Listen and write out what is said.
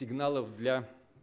сигналов для